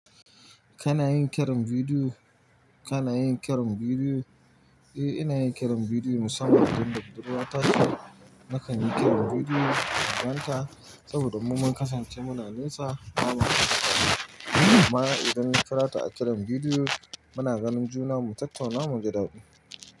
Kana yin kiran bidiyo? Kana yin kiran bidiyo? Eh, ina yin kiran bidiyo musamman idan da buduruwa ta ce nakan yi kiran bidiyo inganta saboda mu mun kasance muna nesa. Amma idan na kira ta a kiran bidiyo, muna ganin juna, mu tattauna, mu ji daɗi.